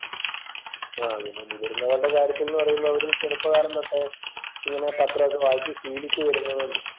ആഹ് പിന്നെ മുതിർന്നവരുടെ കാര്യത്തിൽ എന്ന് പറയുമ്പോൾ അവരെ ചെറുപ്പകാലം തൊട്ടേ ഇങ്ങനെ പത്രം ഒക്കെ വായിച്ച് ശീലിച്ചു വരുന്നതുകൊണ്ട്